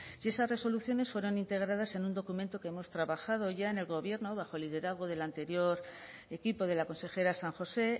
y esas resoluciones fueron integradas en un documento que hemos trabajado ya en el gobierno bajo el liderazgo del anterior equipo de la consejera san josé